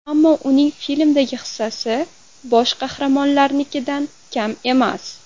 Ammo uning filmdagi hissasi bosh qahramonlarnikidan kam emas.